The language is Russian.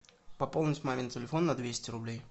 пополнить мамин телефон на двести рублей